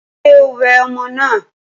Ṣé o wẹ ọmọ náà?